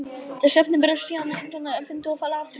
Þessi efni berast síðan undan vindi og falla aftur niður.